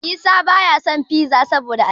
Isa baya son Fiza saboda albasa.